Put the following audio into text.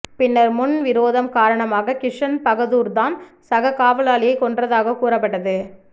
பின்னர் முன் விரோதம் காரணமாக கிஷன் பகதூர்தான் சக காவலாளியை கொன்றதாக கூறப்பட்டது